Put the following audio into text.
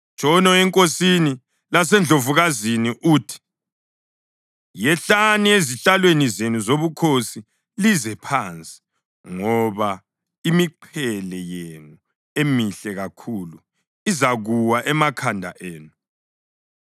Tshono enkosini lasendlovukazini uthi, “Yehlani ezihlalweni zenu zobukhosi lize phansi, ngoba imiqhele yenu emihle kakhulu izakuwa emakhanda enu.”